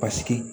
Paseke